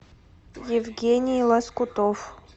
евгений лоскутов